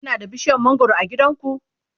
Kuna da bishiyar mangwaro a gidanku?